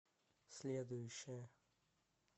следующая